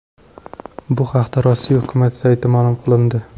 Bu haqda Rossiya hukumat saytida ma’lum qilindi .